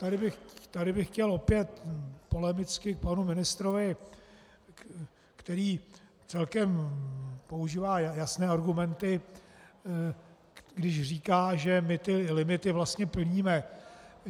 Tady bych chtěl opět polemicky k panu ministrovi, který celkem používá jasné argumenty, když říká, že my ty limity vlastně plníme.